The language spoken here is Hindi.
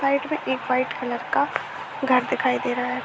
साइड मे एक वाइट कलर का घर दिखाई दे रहा है।